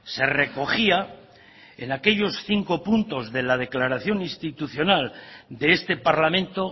se recogía en aquellos cinco puntos de la declaración institucional de este parlamento